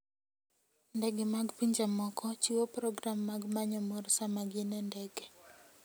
Ndege mag pinje moko chiwo program mag manyo mor sama gin e ndege.